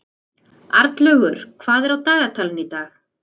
Arnlaugur, hvað er á dagatalinu í dag?